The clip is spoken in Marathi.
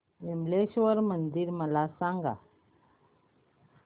विमलेश्वर मंदिर मला सांग